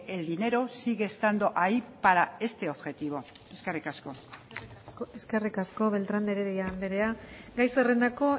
el dinero sigue estando ahí para este objetivo eskerrik asko eskerrik asko beltrán de heredia andrea gai zerrendako